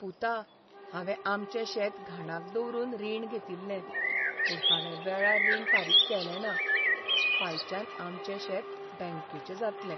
पुता, हांवें आमचें शेत घाणाक दवरून रीण घेतिल्लें, पूण हांवें वेळार रीण फारीक केलें ना. फायच्यान आमचें शेत बँकेचें जातलें.